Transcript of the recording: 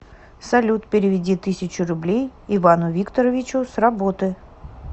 салют переведи тысячу рублей ивану викторовичу с работы